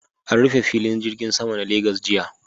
An rufe filin jirgin Sama na Legas jiya